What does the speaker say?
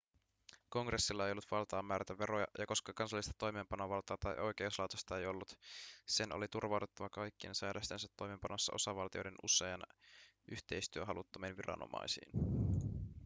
kongressilla ei ollut valtaa määrätä veroja ja koska kansallista toimeenpanovaltaa tai oikeuslaitosta ei ollut ‎sen oli turvauduttava kaikkien säädöstensä toimeenpanossa osavaltioiden usein yhteistyöhaluttomiin ‎viranomaisiin.‎